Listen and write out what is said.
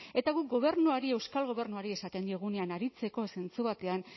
eta guk gobernuari euskal gobernuari esaten diogunean aritzeko zentzu batean